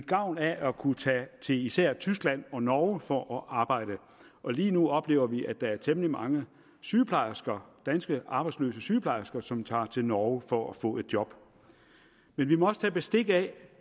gavn af at kunne tage til især tyskland og norge for at arbejde og lige nu oplever vi at der er temmelig mange sygeplejersker danske arbejdsløse sygeplejersker som tager til norge for at få job men vi må også tage bestik af